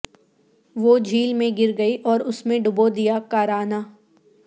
وہ جھیل میں گر گئی اور اس میں ڈبو دیا کراہنا